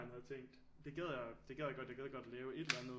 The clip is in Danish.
Havde tænkt det gad jeg det jeg gad godt lave et eller andet